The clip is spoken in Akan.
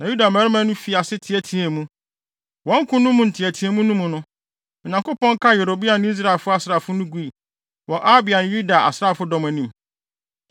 na Yuda mmarima no fii ase teɛteɛɛ mu. Wɔn ko no mu nteɛteɛmu no mu no, Onyankopɔn kaa Yeroboam ne Israel asraafo no gui, wɔ Abia ne Yuda asraafodɔm anim.